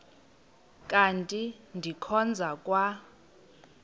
kanti ndikhonza kwa